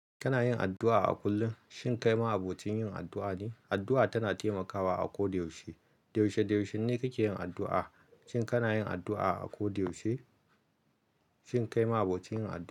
Kana yin addu'a a kullum? Shin kai ma abocin yin addu'a ne? Addu'a tana taimakawa a ko da yaushe. Yaushe-yaushen ne kike yin addu'a? Shin kana yin addu'a a ko da yaushe? Shin kai ma abokin yin addu'a.